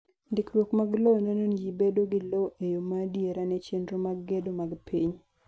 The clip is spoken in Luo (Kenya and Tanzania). Ndikruok mar lowo neno ni ji bedo gi lowo e yo ma adiera ne chenro mag gedo mag piny.